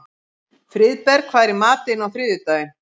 Friðberg, hvað er í matinn á þriðjudaginn?